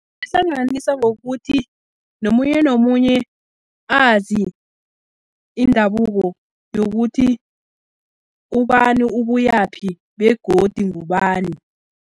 Ihlanganisa ngokuthi, nomunye nomunye azi indabuko, yokuthi ubani ubuyaphi begodu ngubani.